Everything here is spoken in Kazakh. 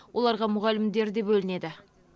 оларға мұғалімдер де бөлінеді